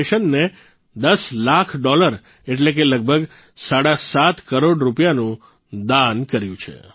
ફાઉન્ડેશનને દસ લાખ ડોલર એટલે કે લગભગ સાડા સાત કરોડ રૂપિયાનું દાન કર્યું છે